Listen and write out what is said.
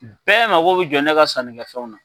Bɛɛ mago bɛ jɔ ne ka sanni kɛ fɛnw na.